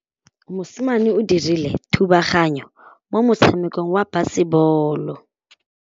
Mosimane o dirile thubaganyô mo motshamekong wa basebôlô.